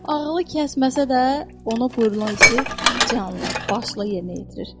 Ağılı kəsməsə də, ona buyurulan işi canla başla yerinə yetirir.